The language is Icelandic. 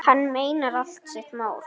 Hann meinar allt sitt mál.